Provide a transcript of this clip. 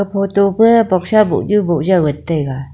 photo pa boxa bohnu bohjaw ngan taiga.